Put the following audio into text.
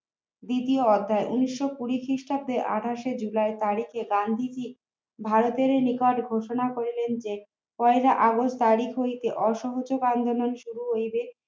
দ্বিতীয় অধ্যায় উনিশ শো কুড়ি খ্রিস্টাব্দে আঠাশ জুলাই বাড়ি গিয়ে গান্ধীজি ভারতের নিকট ঘোষণা করিলেন যে পয়লা আগস্ট তারিখ হইতে অসহযোগ আন্দোলন শুরু হইবে